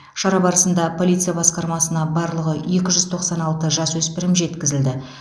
шара барысында полиция басқармасына барлығы екі жүз тоқсан алты жасөспірім жеткізілді